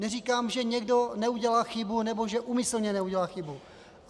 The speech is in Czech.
Neříkám, že někdo neudělá chybu nebo že úmyslně neudělal chybu.